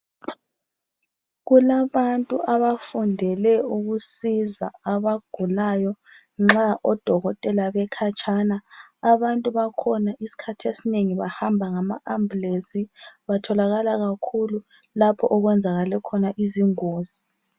Kulabantu abafundele ukusiza abagulayo nxa odokotela bekhatshana, abantu bakhona isikhathi esinengi bahamba ngama ambulensi, batholakala kakhulu lapho okwenzakale khona izingozi.